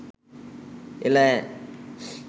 එළ ඈ